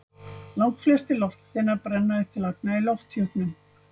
Langflestir loftsteinar brenna upp til agna í lofthjúpnum.